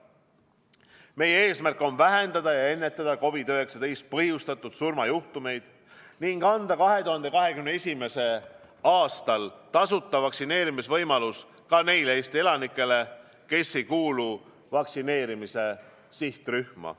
Meie eesmärk on vähendada ja ennetada COVID-19-st põhjustatud surmajuhtumeid ning anda 2021. aastal tasuta vaktsineerimise võimalus ka neile Eesti elanikele, kes ei kuulu vaktsineerimise sihtrühma.